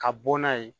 Ka bɔ n'a ye